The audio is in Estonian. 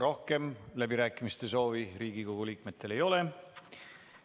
Rohkem läbirääkimiste soovi Riigikogu liikmetel ei ole.